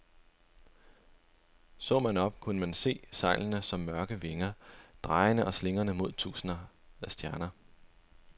Så man op, kunne man se sejlene som mørke vinger, drejende og slingrende mod tusinde stjerner.